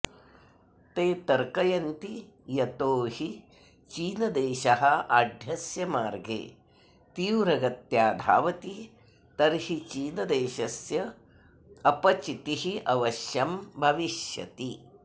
ते तर्कयन्ति यतो हि चीनदेशः आढ्यस्य मार्गे तीव्रगत्या धावति तर्हि चीनदेशस्य अपचितिः अवश्यं भविष्यति